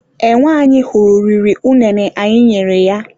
Enwe anyị hụrụ riri unene anyị nyere ya.